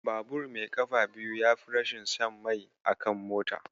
Babur mai ƙafa biyu yafi rashin shan mai akan mota.